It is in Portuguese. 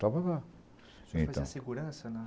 só. Você fazia segurança?